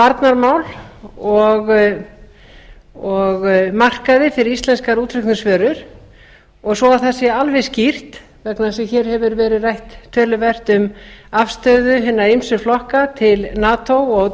varnarmál og markaði fyrir íslenskar útflutningsvörur og svo það sé alveg skýrt vegna þess að hér hefur verið rætt töluvert um afstöðu hinna ýmsu flokka til nato og